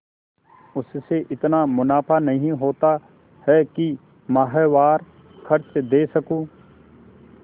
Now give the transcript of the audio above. उससे इतना मुनाफा नहीं होता है कि माहवार खर्च दे सकूँ